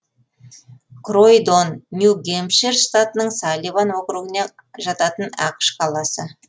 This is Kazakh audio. кройдон нью гэмпшир штатының салливан округіне жататын ақш қаласы